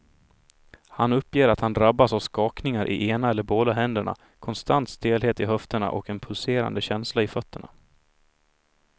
Han uppger att han drabbas av skakningar i ena eller båda händerna, konstant stelhet i höfterna och en pulserande känsla i fötterna.